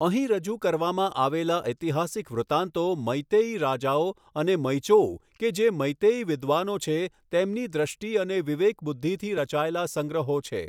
અહીં રજૂ કરવામાં આવેલા ઐતિહાસિક વૃતાંતો મેઈતેઈ રાજાઓ અને મૈચોઉ કે જે મેઈતેઈ વિદ્વાનો છે, તેમની દ્રષ્ટિ અને વિવેકબુદ્ધિથી રચાયેલા સંગ્રહો છે.